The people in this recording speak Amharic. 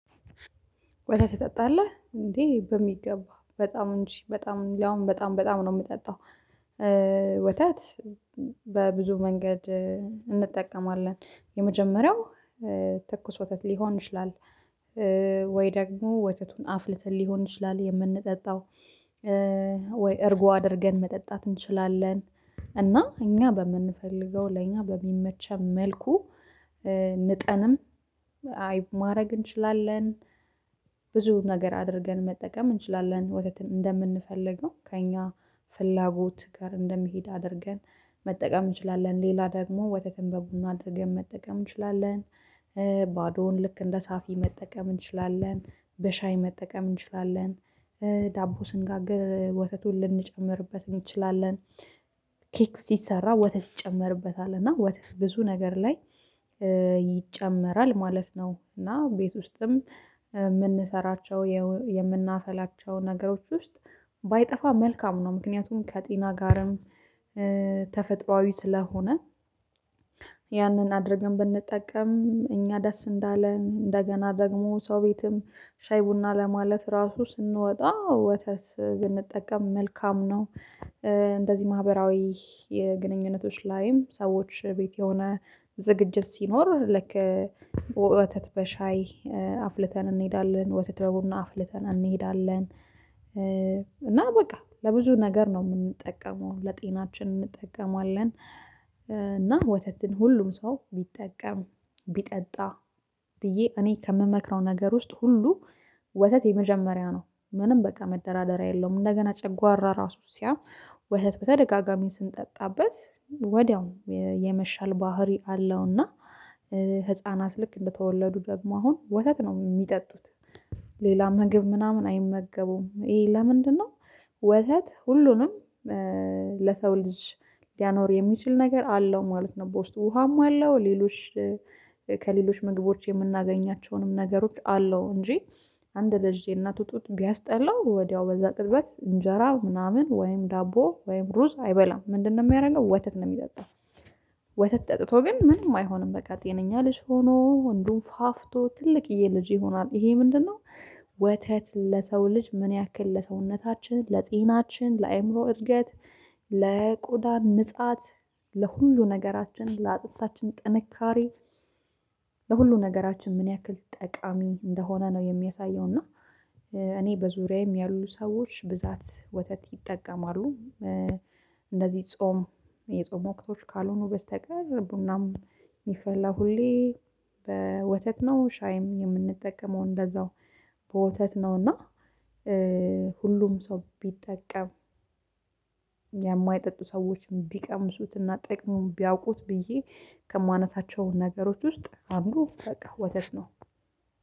ወተት ትጠጣለህ እንዴ በሚገባ በጣም እንጂ በጣም ያውም በጣም በጣም ነው የምጠጣው ወተት በብዙ መንገድ እንጠቀማለን የመጀመሪያው ወተት ሊሆን ይችላል ወይ ደግሞ ወተቱን አፍልተን ሊሆን ይችላል የምንጠጣው ወይ እርጎ አድርገን መጠጣት እንችላለን እና እኛ በምንፈልገው ለእኛ በሚመቸን መልኩ ንጠንም አይብ ማድረግ እንችላለን ነገር አድርገን መጠቀም እንችላለን ወተትን እንደምንፈልገው ከእኛ ፍላጎት ጋር እንደሚሄድ አድርገን መጠቀም እንችላለን ሌላ ደግሞ ወተትን በቡና አድርገን መጠቀም እንችላለን ባዶውን ልክ እንደ ሳፊ መጠቀም እንችላለን በሻይ መጠቀም እንችላለን ዳቦ ስንጋግር ወተቱን ልንጨምርበት እንችላለን ኬክ ሲሰራ ወተት ይጨምርበታል እና ወተት ብዙ ነገር ላይ ይጨመራል ማለት ነው እና ቤት ውስጥም እምንሰራቸው የምናፈላቸው ነገሮች ውስጥ ባይጠፋ መልካም ነው ምክንያቱም ከጤና ጋርም ተፈጥሮአዊ ስለሆነ ያንን አድርገን ብንጠቀም እኛ ደስ እንዳለን እንደገና ደግሞ ሰው ቤትም ሻይ ቡና ለማለት ራሱ ስንወጣ ወተት ብንጠቀም መልካም ነው እንደዚህ ማህበራዊ የግንኙነቶች ላይም ሰዎች ቤት የሆነ ዝግጅት ሲኖር ለክ ወተት በሻይ አፍልተን እንሄዳለን ወተት በቡና አፍልተን እንሄዳለን እና በቃ ለብዙ ነገር ነው የምንጠቀመው ለጤናችን እንጠቀማለን እና ወተትን ሁሉም ሰው ቢጠቀም ቢጠጣ ብዬ እኔ ከምመክረው ነገር ውስጥ ሁሉ ወተት የመጀመሪያ ነው ምንም በቃ መደራደሪያ የለውም እንደገና ጨጓራ ራሱ ሲያም ወለት በተደጋጋሚ ስንጠጣበት ወዲያው የመሻል ባህሪ አለውና ህፃናት ልክ እንደተወለዱ ደግሞ አሁን ወተት ነው የሚጠጡት ምግብ ምናምን አይመገቡም ይሄ ለምንድነው ወተት ሁሉንም ለሰው ልጅ ሊያኖር የሚችል ነገር አለው ማለት ነው በውስጥ ውሃም አለው ሌሎች ከሌሎች ምግቦች የምናገኛቸውንም ነገሮች አለው እንጂ አንድ ልጅ የእናቱ ጡት ቢያስጠላው ወዲያው በዛ ቅጽበት እንጀራ ምናምን ወይም ዳቦ ወይም ሩዝ አይበላም ምንድነው የሚያደርገው ወተት ነው የሚጠጣው ወተት ጠጥቶ ግን ምንም አይሆንም በቃ ጤነኛ ልጅ ሆኖ ወንዱን ፋፍቶ ትልቅዬ ልጅ ይሆናል ይሄ ምንድነው ወተት ለሰው ልጅ ምን ያክል ለሰውነታችን ለጤናችን ለአእምሮ እድገት ለቆዳን ንጻት ለሁሉ ነገራችን ለአጥታችን ጥንካሬ ለሁሉ ነገራችን ምን ያክል ጠቃሚ እንደሆነ ነው የሚያሳየው እና እኔ በዙሪያዬም ያሉ ሰዎች ብዛት ወተት ይጠቀማሉ እንደዚህ ጾም የጾም ወቅቶች ካልሆኑ በስተቀር ቡናም የሚፈላ ሁሌ በወተት ነው ሻይም የምንጠቀመው እንደዛው በወተት ነው እና ሁሉም ሰው ቢጠቀም የማይጠጡ ሰዎችን ቢቀምሱትና ጠቅሙ ቢያውቁት ብዬ ከማነሳቸው ነገሮች ውስጥ አንዱ በቃ ወተት ነው።